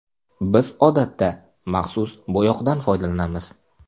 Biz odatda maxsus bo‘yoqdan foydalanamiz.